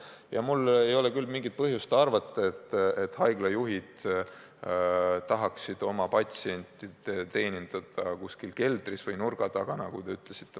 Ja mul ei ole küll mingit põhjust arvata, et haiglajuhid tahavad oma patsiente teenindada kuskil nurga taga või keldris, nagu te ütlesite.